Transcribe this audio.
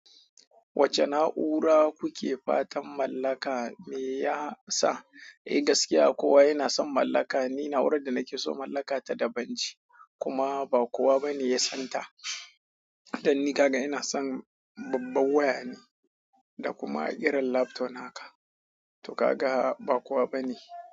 Wacce na'ura kuke fatan mallaka ne ya sa? Eh gaskiya kowa yana son mallaka. Ni na'urar da nake so mallaka ta da banji kuma ba kowa bane ya san ta. Dan ni kaga ina son babbar waya ne da kuma irin laptop haka. To ka ga ba kowa bane.